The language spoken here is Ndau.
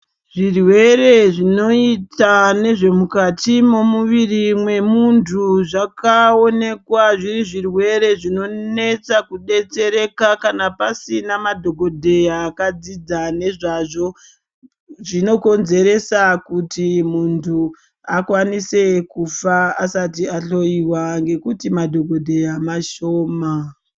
Zvirwere zvinoita nezvemukati momuviri memuntu zvakaonekwa zviri zvirwere zvinonetsa kubetsereka kana pasina madhogodheya akadzidza nezvazvo. Zvinokonzeresa kuti muntu akwanise kufa asati ahloiwa ngekuti madhogodheya mashoma.